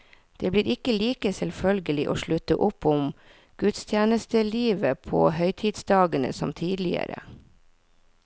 Det blir ikke like selvfølgelig å slutte opp om gudstjenestelivet på høytidsdagene som tidligere.